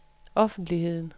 offentligheden